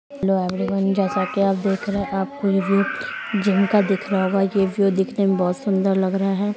Hello everyone जैसा कि आप देख रहे हैं आपको ये व्यू जिम का दिख रहा होगा ये व्यू दिखने में बहुत सुंदर लग रहा है।